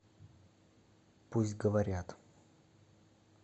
пусть говорят